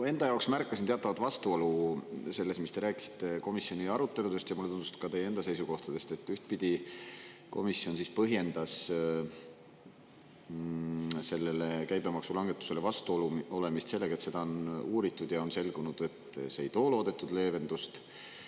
Ma enda jaoks märkasin teatavat vastuolu selles, mis te rääkisite komisjoni aruteludest, ja mulle tundus, et ka teie enda seisukohtadest, et ühtpidi komisjon siis põhjendas sellele käibemaksulangetusele vastuolu olemist sellega, et seda on uuritud, ja on selgunud, et see ei too loodetud leevendust.